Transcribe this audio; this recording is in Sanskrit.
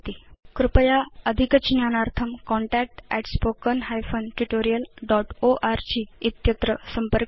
कृपया अधिकज्ञानार्थं contact at spoken hyphen tutorial dot org संपर्कं करोतु